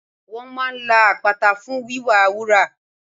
Wọ́n máa la àpáta fún wíwá wúrà